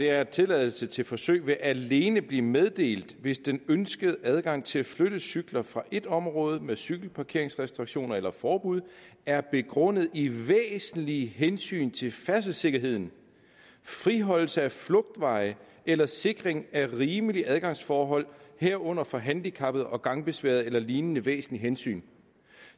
er tilladelse til forsøg vil alene blive meddelt hvis den ønskede adgang til at flytte cykler fra et område med cykelparkeringsrestriktioner eller forbud er begrundet i væsentlige hensyn til færdselssikkerheden friholdelse af flugtveje eller sikring af rimelige adgangsforhold herunder for handicappede og gangbesværede eller lignende væsentlige hensyn